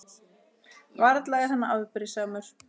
Varla er hann afbrýðisamur?